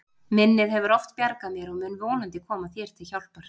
Minnið hefur oft bjargað mér og mun vonandi koma þér til hjálpar.